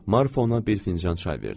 Marfa ona bir fincan çay verdi.